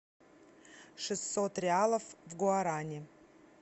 шестьсот реалов в гуарани